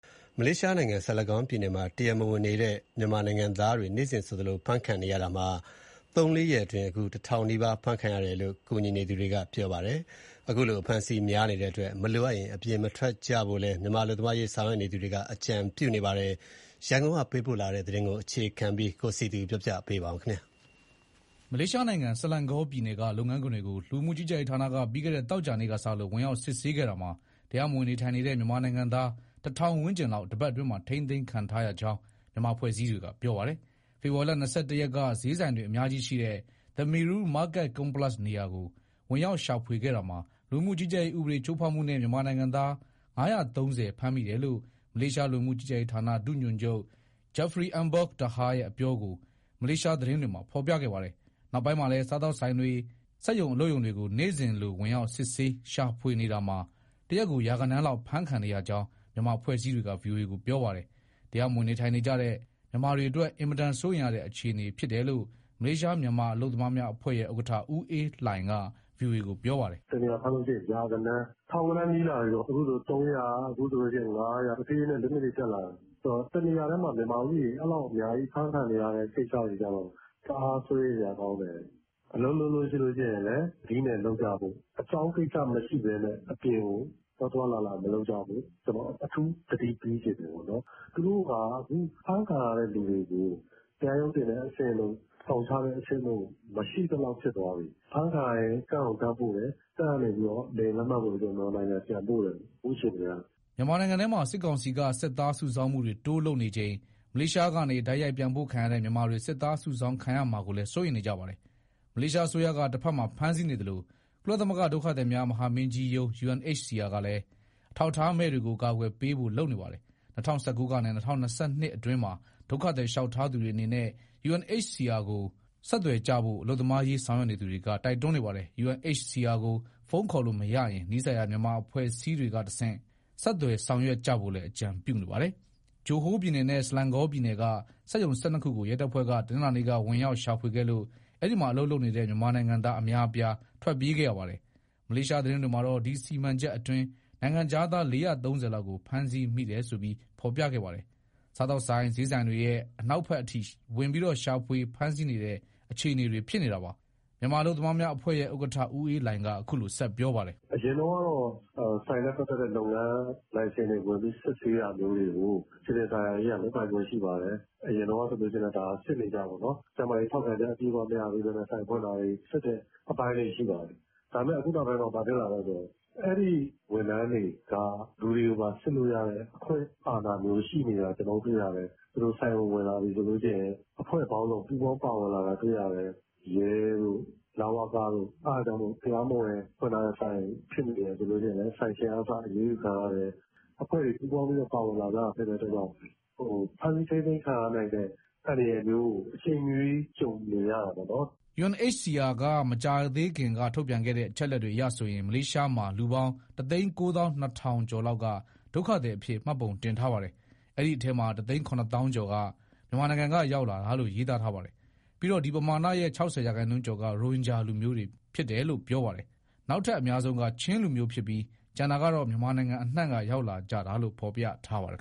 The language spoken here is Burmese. မလေးရှားနိုင်ငံ (Selangor) ဆလန်ဂေါပြည်နယ်မှာ တရားမဝင်နေထိုင်နေကြတဲ့ မြန်မာနိုင်ငံတွေ နေ့စဉ်ဆိုသလို ဖမ်းဆီးခံနေရတာ ၃- ၄ ရက်အတွင်း ၁၀၀၀ နီးပါး ဖမ်းဆီးခံရတယ်လို့ မြန်မာနိုင်ငံသားအရေး ကူညီဆောင်ရွက်နေသူတွေက VOA ကို ပြောပါတယ်။ အဖမ်းအဆီးများနေတဲ့အတွက် မလိုအပ်ရင် အပြင်မထွက်ကြဖို့လည်း မြန်မာအလုပ်သမားအရေးဆောင်ရွက်နေသူတွေက အကြံပြုနေကြပါတယ်။ ရန်ကုန်ကပေးပို့တဲ့သတင်းကို အခြေခံပြီးတင်ပြထားပါတယ်။ မလေးရှားနိုင်ငံ (Selangor) ဆလန်ဂေါပြည်နယ်က လုပ်ငန်းခွင်တွေကို လူဝင်မှုကြီးကြပ်ရေးဌာနက ပြီးခဲ့တဲ့ သောကြာနေ့က စလို့ ဝင်ရောက်စစ်ဆေးခဲ့တာမှာ တရားမဝင်နေထိုင်နေတဲ့ မြန်မာနိုင်ငံသား ၁,၀၀၀ ဝန်းကျင်လောက် တပတ်အတွင်းမှာ ထိန်းသိမ်းခံထားရကြောင်း မြန်မာအဖွဲ့အစည်းတွေက ပြောပါတယ်။ ဖေဖော်ဝါရီလ ၂၁ ရက်က ဈေးဆိုင်တွေအများကြီးရှိတဲ့ The Meru Market Complex နေရာကို ဝင်ရောက်ရှာဖွေခဲ့တာမှာ လူဝင်မှုကြီးကြပ်ရေးဥပဒေချိုးဖောက်မှုနဲ့ မြန်မာနိုင်ငံသား ၅၃၀ ဖမ်းမိတယ်လို့ မလေးရှားလူဝင်မှုကြီးကြပ်ရေးဌာန ဒုညွှန်ချုပ် Jafri Embok Taha ရဲ့အပြောကို မလေးရှားသတင်းတွေမှာ ဖော်ပြခဲ့ပါတယ်။ နောက်ပိုင်းမှာလည်း’ စားသောက်ဆိုင်တွေ၊ စက်ရုံအလုပ်ရုံတွေကို နေ့စဉ်လို့ ဝင်ရောက်စီးနင်းရှာဖွေနေတာမှာ တရက်ကို ရာဂဏန်းလောက် ဖမ်းခံနေရကြောင်း မြန်မာအဖွဲ့အစည်းတွေက VOA ကို ပြောပါတယ်။ တရားမဝင် နေထိုင်အလုပ်လုပ်နေကြတဲ့ မြန်မာတွေအတွက် အင်မတန် စိုးရိမ်ရတဲ့ အခြေအနေဖြစ်တယ်လို့ မလေးရှား မြန်မာအလုပ်သမားများ အဖွဲ့ရဲ့ ဥက္ကဋ္ဌ ဦးအေးလှိုင်က VOA ကို ပြောပါတယ်။ "တနေရာဖမ်းရင် ရာဂဏန်း၊ ထောင်ဂဏန်းနီးလာပြီ အခုဆိုရင် ၃၀၀၊ အခုဆိုရင် ၅၀၀ တဖြည်းဖြည်းနဲ့ အရေအတွက်တွေတက်လာတယ်။ အဲဒီတော့ တနေရာထဲမှာ မြန်မာဦးရေ အဲလောက်အများကြီး အဖမ်းခံနေရတဲ့ ကိစ္စတွေကတော့ တအား စိုးရိမ်စရာကောင်းတယ်။ အလုပ်လုပ်ရင် သတိနဲ့လုပ်ကြဖို့၊ အကြောင်းကိစ္စ မရှိဘဲနဲ့ အပြင်ကို သွားသွားလာလာ မလုပ်ကြဖို့ အထူးသတိပေးချင်တယ် ပေါ့နော်။ သူတို့က အခုဖမ်းခံရတဲ့သူတွေကို တရားရုံးတင်တဲ့ အဆင့်တို့၊ ထောင်ချတဲ့အဆင့်တို့ မရှိသလောက်ဖြစ်သွားပြီ။ ဖမ်းခံရရင် လူဝင်မှုကြီးကြပ်ရေး အချုပ်ခန်းတွေကိုတန်းပို့တယ်။ အဲဒီကနေ လေယာဉ်လက်မှတ်ဝယ်ပြီး မြန်မာနိုင်ငံတန်းပို့တယ်၊ အခုအခြေအနေအရ။" မြန်မာနိုင်ငံထဲမှာ စစ်ကောင်စီက စစ်သားစုဆောင်းမှုတွေ တိုးလုပ်နေချိန် မလေးရှားကနေ တိုက်ရိုက်ပြန်ပို့ခံရတဲ့ မြန်မာတွေ စစ်သားစုဆောင်းခံရမှာကိုလည်း စိုးရိမ်နေကြပါတယ်။ မလေးရှားအစိုးရက တဖက်မှာ ဖမ်းဆီးနေသလို၊ ကုလသမဂ္ဂဒုက္ခသည်များ မဟာမင်းကြီးရုံး UNHCR ကလည်း အထောက်အထားမဲ့တွေကို အကာအကွယ်ပေးဖို့ လုပ်နေပါတယ်။ ၂၀၁၉ ကနေ ၂၀၂၂ အတွင်းမှာ ဒုက္ခသည် လျှောက်ထားသူတွေအနေနဲ့ UNHCR ကို ဆက်သွယ်ကြဖို့ အလုပ်သမားရေးဆောင်ရွက်နေသူတွေက တိုက်တွန်းနေပါတယ်။ UNHCR ကို ဖုန်းခေါ်လို့မရရင် နီးစပ်ရာ မြန်မာအဖွဲ့အစည်းတွေကတဆင့် ဆက်သွယ်ဆောင်ရွက်ကြဖို့လည်း အကြံပြုနေပါတယ်။ ဂျိုဟိုးပြည်နယ်နဲ့ ဆလန်ဂေါပြည်နယ်က စက်ရုံ ၁၂ ခုကို ရဲတပ်ဖွဲ့က တနင်္လာနေ့က ဝင်ရောက်၊ ရှာဖွေခဲ့လို့ အဲဒီမှာ အလုပ်လုပ်နေတဲ့ မြန်မာနိုင်ငံသား အများအပြား ထွက်ပြေးခဲ့ရပါတယ်။ မလေးရှား သတင်းတွေမှာတော့ ဒီစီမံချက်အတွင်း နိုင်ငံခြားသား ၄၃၀ လောက်ကို ဖမ်းဆီးမိတယ်ဆိုပြီး ဖော်ပြခဲ့ပါတယ်။ စားသောက်ဆိုင်၊ စျေးဆိုင်တွေရဲ့ အနောက်ဘက်အထိ ဝင်ပြီး ရှာဖွေ ဖမ်းဆီးနေတဲ့ အခြေအနေ ဖြစ်နေတာပါ။ မြန်မာအလုပ်သမားများ အဖွဲ့ရဲ့ ဥက္ကဋ္ဌ ဦးအေးလှိုင်က ဆက်ပြောပါတယ်။ "အရင်ကတော့ ဆိုင်နဲ့ပတ်သက်တဲ့ လုပ်ငန်းလိုင်စင် စစ်ဆေးတာမျိုးကို စည်ပင်သာယာရေးက လုပ်ပိုင်ခွင့်ရှိပါတယ်။ အရင်တုန်းကလည်း စစ်နေကြပေါ့နော်။ ကျန်းမာရေးထောက်ခံချက် အပြည့်အဝမရဘဲ ဆိုင်ဖွင့်တာတွေကို စစ်တဲ့အပိုင်းတွေ ရှိပါတယ်။ ဒါပေမဲ့ အခုနောက်ပိုင်းမှာ ဘာဖြစ်လာလဲဆိုတော့ အဲဒီဝန်ထမ်းတွေက လူတွေကိုပါ စစ်လို့ရတဲ့ အခွင့်အာဏာမျိုး ရှိနေတာ ကျနော်တို့တွေ့ရတယ်။ သူတို့ဆိုင်ကိုဝင်လာပြီဆိုရင် အဖွဲ့ပေါင်းစုံ ပူးပေါင်းပါဝင်လာတာ တွေ့ရတယ်။ ရဲတို့၊ လဝကတို့။ အဲဒါကြောင့်မို့ တရားမဝင်ဖွင့်ထားတဲ့ဆိုင် ဖြစ်နေတယ်ဆိုရင် ဆိုင်ရှင်ကအစ အရေးယူခံရတယ်။ အဖွဲ့တွေ ပူးပေါင်းပါဝင်လာတာဖြစ်လို့ ဖမ်းဆီးထိန်းသိမ်းခံရနိုင်တဲ့ အန္တရာယ်မျိုးကို အချိန်မရွေး ကြုံနေရတာပေါ့နော်။" UNHCR က မကြာသေးခင်က ထုတ်ပြန်ထားတဲ့ အချက်အလက်အရဆိုရင် မလေးရှားမှာ လူပေါင်း ၁၉၂,၀၀၀ ကျော်လောက်က ဒုက္ခသည်အဖြစ် မှတ်ပုံတင်ထားပါတယ်။ အဲဒီအထဲမှာ ၁၇၀,၀၀၀ ကျော်က မြန်မာနိုင်ငံက ရောက်လာတာလို့ ရေးသားထားပါတယ်။ ပြီးတော့ ဒီပမာဏရဲ့ ၆၀ရာခိုင်နှုန်းကျော်က ရိုဟင်ဂျာလူမျိုးတွေလို့ ပြောပါတယ်။ နောက်ထပ်အများဆုံးက ချင်းလူမျိုးဖြစ်ပြီး၊ ကျန်တာကတော့ မြန်မာနိုင်ငံအနှံ့က ရောက်လာကြတာလိုံ့ ဖော်ပြထားပါတယ်